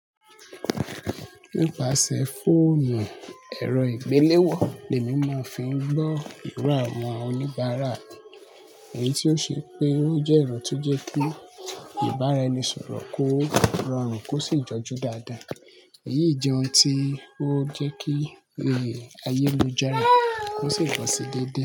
Nípasẹ̀ fóònù ẹ̀rọ ìgbéléwọ̀, lèmi máa ń fi ń gbọ́ ìrá àwọn oníbàárà, èyí tí ó ṣe pé ó jẹ́ ìran tó jẹ́ pé ìbáraẹnisọ̀rọ̀ kó rọrùn kó sì jọjú dáadáa. Èyí jẹ́ ohun tí ó jẹ́ kí ayé mi jẹ́ rẹ, kó sì bọ̀ sí déédéé.